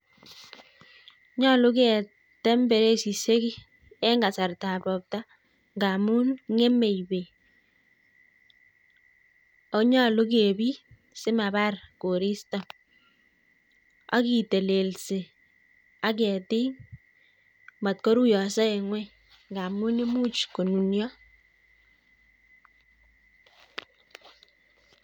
Nyolu keteem beresisiek en kasartab robtaa ngamun ngemei beek minutichu, ak nyolu kebiit simabar koristoo ak kitelelsii ak ketik sikomot koruiyoso en ngwony ngamun imuch konunio